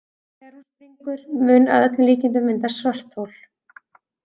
Þegar hún springur mun að öllum líkindum myndast svarthol.